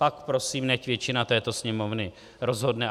Pak prosím, nechť většina této Sněmovny rozhodne.